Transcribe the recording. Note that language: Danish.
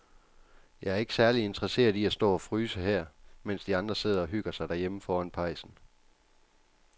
Jeg er ikke særlig interesseret i at stå og fryse her, mens de andre sidder og hygger sig derhjemme foran pejsen.